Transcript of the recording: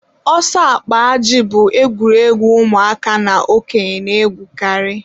ọsọ akpa ajị bụ egwuregwu ụmụaka na okenye na-egwukarị